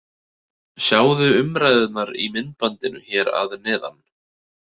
Sjáðu umræðuna í myndbandinu hér að neðan: